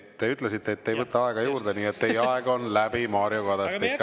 Te ütlesite, et te ei võta aega juurde, nii et teie aeg on läbi, Mario Kadastik.